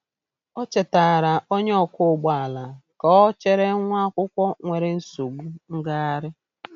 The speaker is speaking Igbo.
O chetaara onye ọkwọ ụgbọ ala ka ọ chere nwa akwụkwọ nwere nsogbu ngagharị.